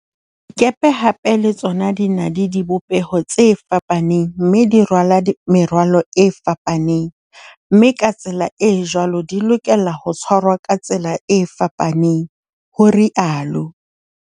Dikepe hape le tsona di na le di bopeho tse fapaneng mme di rwala merwalo e fapaneng, mme ka tsela e jwalo di lokela ho tshwarwa ka tsela tse fapaneng, ho rialo